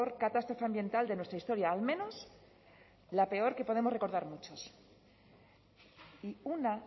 catástrofe ambiental de nuestra historia al menos la peor que podemos recordar muchos y una